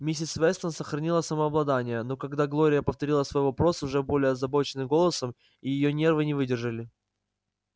миссис вестон сохранила самообладание но когда глория повторила свой вопрос уже более озабоченным голосом и её нервы не выдержали